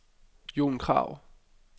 Jon Krag